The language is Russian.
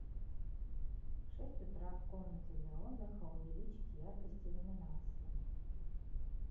в шесть утра в комнате для отдыха увеличить яркость иллюминации